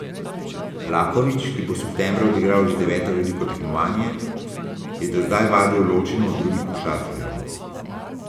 Lakovič, ki bo septembra odigral že deveto veliko tekmovanje, je do zdaj vadil ločeno od drugih košarkarjev.